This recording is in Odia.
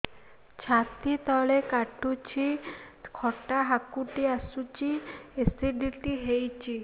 ଛାତି ତଳେ କାଟୁଚି ଖଟା ହାକୁଟି ଆସୁଚି ଏସିଡିଟି ହେଇଚି